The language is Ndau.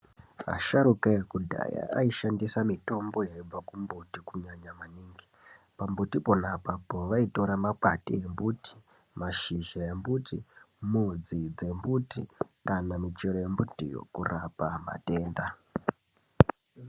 Asharuka ekudhaya aishandisa mitombo yaibve kumbuti kunyanya maningi . Pambuti pona apapo vaitora makwati embuti, mashizha embuti, mudzi dzembuti kana michero yembuti kurapa matenda.